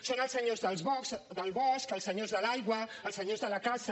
són els senyors del bosc els senyors de l’aigua els senyors de la caça